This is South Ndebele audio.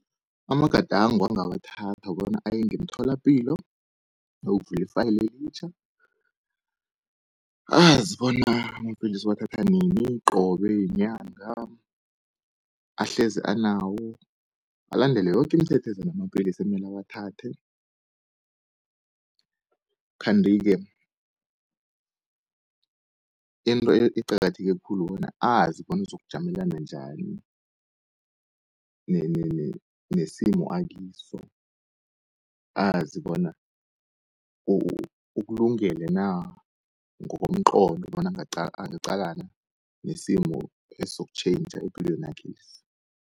Amagadango angawathatha kukobana aye ngemtholapilo ayokuvula i-file elitjha, azi bona amapilisi uwathatha nini, qobe yinyanga ahlezi anawo, alandele yoke imithetho eza namapilisi emele awathathe. Kanti ke into eqakatheke khulu kukobana azi bona uzokujamelana njani nesimo akiso, azi bona ukulungele na ngokomqondo bona angaqalana nesimo esizokutjhentjha epilwenakhesi.